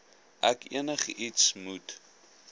ek enigiets moet